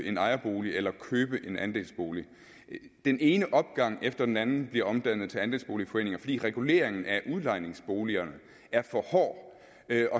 en ejerbolig eller købe en andelsbolig den ene opgang efter den anden bliver omdannet til andelsboligforeninger fordi reguleringen af udlejningsboligerne er for hård